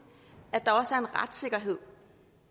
at der også er en retssikkerhed